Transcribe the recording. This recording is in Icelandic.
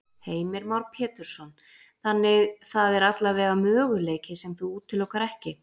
Heimir Már Pétursson: Þannig það er allavega möguleiki sem þú útilokar ekki?